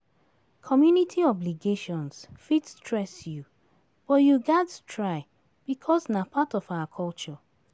Community obligations fit stress you, but you gats try bicos na part of our culture.